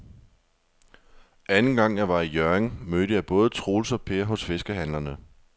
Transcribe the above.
Anden gang jeg var i Hjørring, mødte jeg både Troels og Per hos fiskehandlerne.